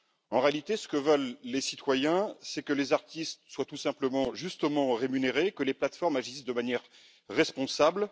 En réalité, ce que veulent les citoyens, c'est que les artistes soient tout simplement justement rémunérés et que les plateformes agissent de manière responsable.